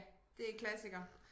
Det klassiker